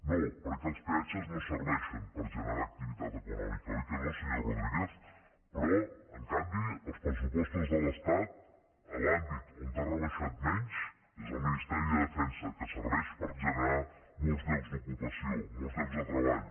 no perquè els peatges no serveixen per generar activitat econòmica oi que no senyor rodríguez però en canvi els pressupostos de l’estat a l’àmbit on han rebaixat menys és al ministeri de defensa que serveix per generar molts llocs d’ocupació molts llocs de treball